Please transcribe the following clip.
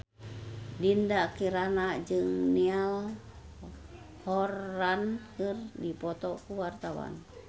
Dinda Kirana jeung Niall Horran keur dipoto ku wartawan